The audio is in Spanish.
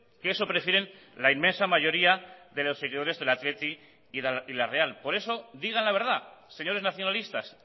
que eso prefieren la inmensa mayoría de los seguidores del athletic y la real por eso digan la verdad señores nacionalistas